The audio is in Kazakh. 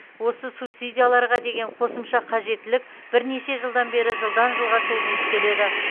осы субсидияларға деген қосымша қажеттілік бірнеше жылдан бері жылдан жылға созылып келеді